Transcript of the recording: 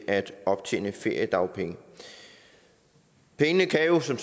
at optjene feriedagpenge pengene kan jo som